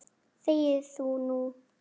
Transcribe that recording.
ÞEGIÐU NÚ!